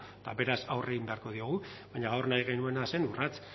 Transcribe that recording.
eta beraz aurre egin beharko diogu baina gaur nahi genuena zen urrats